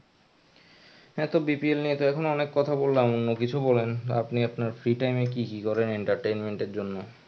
হ্যা তো BPL নিয়ে তো এখন অনেক কথা বললাম অন্য কিছু বলেন আপনি আপনার free time এ কি কি করেন entertainment এর জন্য.